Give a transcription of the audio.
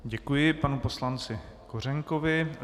Děkuji panu poslanci Kořenkovi.